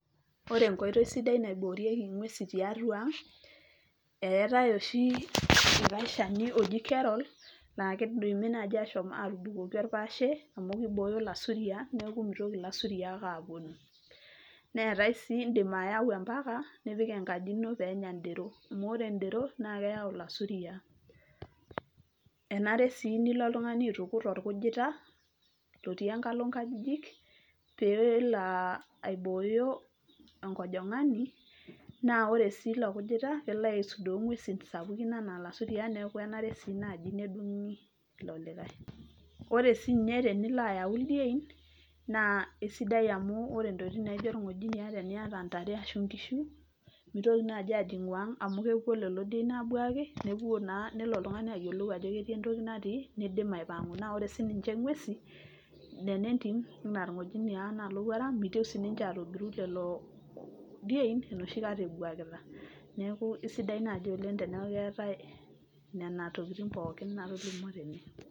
Ore enkoitoi sidai naiboorieki ngwesin tiatua ang eetae oshi likae shani loji kerol naa kidimi naji ashom atubukoki orpaashe amu kibooyo ilaisuriaak neeku mitoki ilasuriaak aponu. Neetae sii indim ayau empaka , nipik enkaji ino peenya in`dero , amuore in`dero naa keyau ilaisuriaak . Enare sii nilo oltungani aitukuj orkujita lotii enkalo nkajijik pelo aibooyo enkojongani , naa ore siiilo kujita kelo aisudoo ngwesin sapukin anaa ilaisuriaak niaku kenare sii naji nedungi ilo likae. Ore sinye tenilo ayau ildieni naa kisidai amu ore intokitin naijo irngojiniaa teniata intare ashu inkishu mitoki naji ajingu ang amu kepuo lelo dien abuaaki nepuo naa nelo oltungani ayiolou ajo ketii entoki natii , nidim aipangu . Ore sininche ingwesin nena entim anaa irngojiniaa , anaa ilowuarak , mitieu siniche atogiru lelo dien enoshi kata ebuakita . Neeku isidai naji oleng teneaku keetae nena tokitin pookin natolimwo tene.